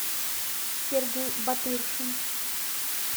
сергей батыршин